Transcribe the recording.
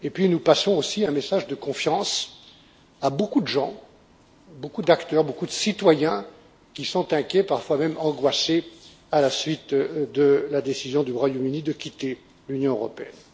Nous passons aussi un message de confiance à beaucoup de gens, à beaucoup d'acteurs, à beaucoup de citoyens qui sont inquiets, parfois même angoissés, à la suite de la décision du Royaume-Uni de quitter l'Union européenne.